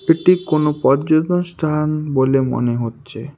এটি কোনো পর্যতন স্থান বলে মনে হচ্ছে।